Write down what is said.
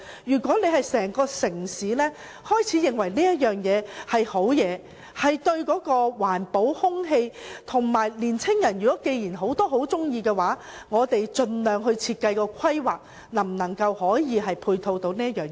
如果整個城市開始認為這是好事，有利環保和空氣，而很多年青人亦喜歡，那我們便應盡量在設計和規劃上，看看能否配合此事。